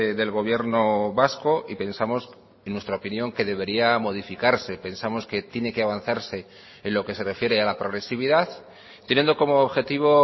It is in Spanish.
del gobierno vasco y pensamos en nuestra opinión que debería modificarse pensamos que tiene que avanzarse en lo que se refiere a la progresividad teniendo como objetivo